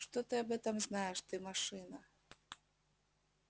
что ты об этом знаешь ты машина